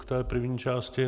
K té první části.